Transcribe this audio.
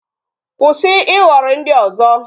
Kwụsị ịhọrị ndị ọzọ